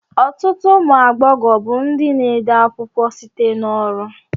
Ọtụtụ ụmụ agbọghọ bụ ndị na-ede akwụkwọ site na ọrụ